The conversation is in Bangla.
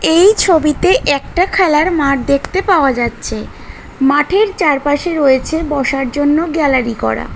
এই ছবিতে একটা খেলার মাঠ দেখতে পাওয়া যাচ্ছে মাঠের চারপাশে রয়েছে বসার জন্য গ্যালারি করা।